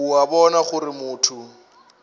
o a bona gore motho